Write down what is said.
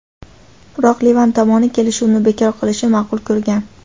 Biroq Livan tomoni kelishuvni bekor qilishni ma’qul ko‘rgan.